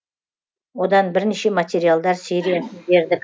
одан бірнеше материалдар бердік